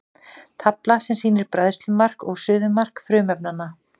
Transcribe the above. tafla sem sýnir bræðslumark og suðumark frumefnanna